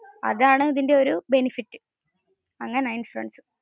അതാണ് ഇതിന്റെ ഒരു benefit. അങ്ങനെ ആൺ ഇൻഷുറൻസ്